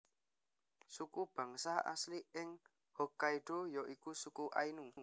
Suku bangsa asli ing Hokkaido ya iku suku Ainu